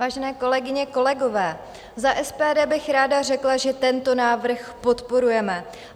Vážené kolegyně, kolegové, za SPD bych ráda řekla, že tento návrh podporujeme.